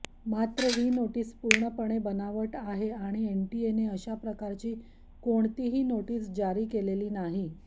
मात्र ही नोटीस पूर्णपणे बनावट आहे आणि एनटीएने अशा प्रकारची कोणतीही नोटीस जारी केलेली नाही